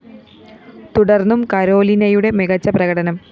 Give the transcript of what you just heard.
തുടര്‍ന്നും കരോലിനയുടെ മികച്ച പ്രകടനം